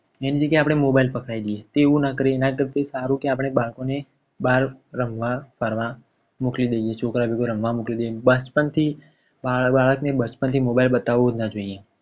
એની જગ્યાએ આપણે mobile પકડાવી દઈએ છીએ. તેવું ના કરીએ એના કરતાં એ સારું કે આપણે બાળકોને બહાર રમવા ફરવા મોકલી દઈએ. છોકરા ભેગું રમવા મોકલી દઈએ. બચપણથી બાળક ને mobile બતાવો જ ના જોઈએ.